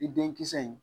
I den kisɛ in